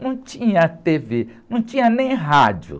Não tinha tê-vê, não tinha nem rádio.